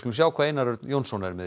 sjá hvað Einar Örn Jónsson er með